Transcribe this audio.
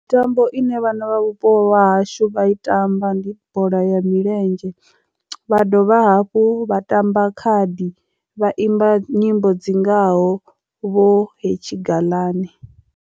Mitambo ine vhana vha vhupo hashu vha i tamba ndi bola ya milenzhe vha dovha hafhu vha tamba khadi vha imba nyimbo dzi ngaho vho hetshi gaḽani.